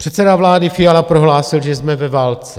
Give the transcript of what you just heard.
Předseda vlády Fiala prohlásil, že jsme ve válce.